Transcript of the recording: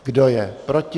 Kdo je proti